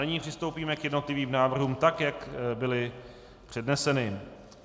Nyní přistoupíme k jednotlivým návrhům tak, jak byly předneseny.